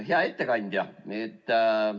Hea ettekandja!